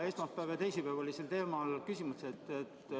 Esmaspäeval ja teisipäeval olid sel teemal küsimused.